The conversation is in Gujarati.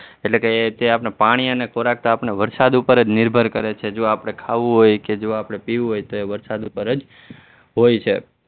એટલે કે તે આપણને પાણી અને ખોરાક તો આપણને વરસાદ ઉપર જ નિર્ભર કરે છે જો આપણે ખાવું હોય કે જો આપણે પીવું હોય તો વરસાદ ઉપર જ હોય છે.